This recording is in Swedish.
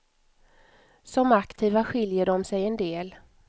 Som aktiva skiljer de sig en del.